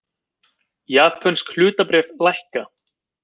Japönsk hlutabréf lækka